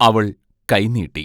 അവൾ കൈനീട്ടി.